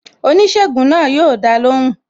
Oníṣègùn náà yo dá lóhùn